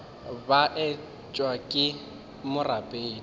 ka etšwe ke le morapedi